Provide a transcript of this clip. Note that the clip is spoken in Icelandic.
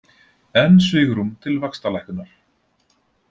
Enn svigrúm til vaxtalækkunar